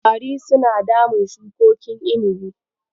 Ƙwari suna damun shukokin inibi.